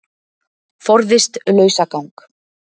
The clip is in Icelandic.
Forðist lausagang